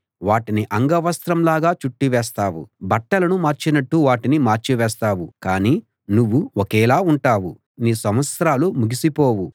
వాటిని అంగవస్త్రంలాగా చుట్టి వేస్తావు బట్టలను మార్చినట్టు వాటిని మార్చి వేస్తావు కానీ నువ్వు ఒకేలా ఉంటావు నీ సంవత్సరాలు ముగిసిపోవు